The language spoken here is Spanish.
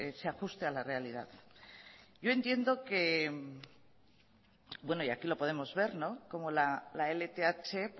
se ajuste a la realidad yo entiendo que y aquí lo podemos ver cómo la lth